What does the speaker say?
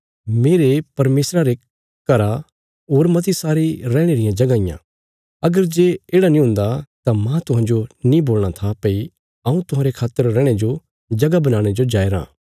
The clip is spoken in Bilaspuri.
मेरे परमेशर रे घरा होर मती सारी रैहणे रियां जगहां इयां अगर जे येढ़ा नीं हुंदा तां माह तुहांजो नीं बोलणा था भई हऊँ तुहांरे खातर रैहणे जो जगह बनाणे जो जाया राँ